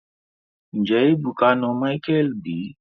Nje ebuka na Micheal bi?